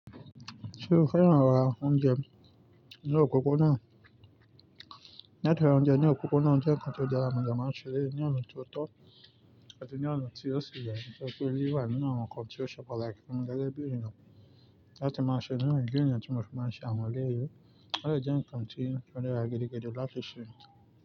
Ṣé o fẹ́ràn rà oúnjẹ ní òpópónà? Latí ra oúnjẹ ní òpópónà jẹ́ ǹkan tó jẹ́ dara mo de máa ń ṣe ní ọ̀nà tó tọ́ àti ní ọ̀nà tí ó sì ye pé ó wà nínú àwọn ǹkan tí ó ṣe pataki funmi gege bí eniyan. Láti máa ṣe nínú ìdí ènìyàn tí mo fi máa ń ṣe àwọn eleyìí, ó de jẹ́ ǹkan tí ó dára gidi gidi láti ṣe.